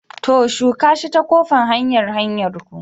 To! shuka shi ta ƙofan hanyar hanyarku.